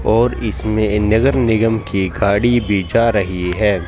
और इसमें नेगर निगम की खाड़ी भी जा रही है।